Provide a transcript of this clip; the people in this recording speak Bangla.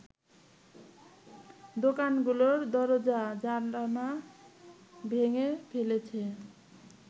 দোকানগুলোর দরজা-জানালা ভেঙে ফেলেছে